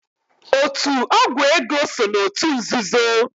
Otu ọgwụ ego so n'otu nzuzo.